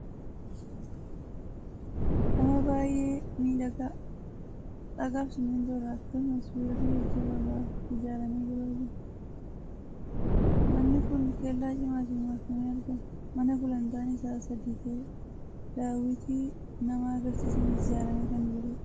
Mana baay'ee miidhagaa dhagaa fi simmintoo irraa akkasumas sibiilota jajjaboo irraa ijaaramee jiru argina. Manni kun kellaa cimaatiin marfamee argama. Mana gulantaan isaa sadii ta'edha. Daawwitii nama argisiisaniis ijaaramee kan jirudha.